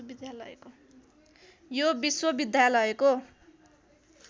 यो विश्वविद्यालयको